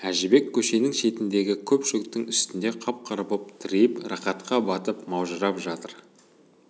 әжібек көшенің шетіндегі көк шөптің үстінде қап-қара боп тыриып рақатқа батып маужырап жатыр